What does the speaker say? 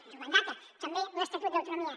ens ho mandata també l’estatut d’autonomia